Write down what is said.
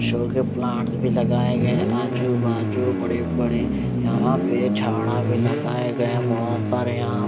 show के plant भी लगाए गए आजू बाजू बड़े बड़े यहां पे झाड़ा भी लगाए गए बहोत सारे यहां--